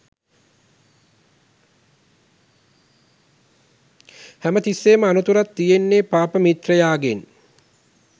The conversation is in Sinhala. හැම තිස්සේම අනතුරක් තියෙන්නේ පාප මිත්‍රයාගෙන්